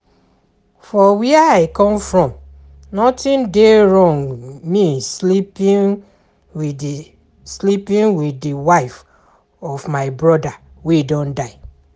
For where I come from nothing dey wrong with me sleeping with the sleeping with the wife of my broda wey don die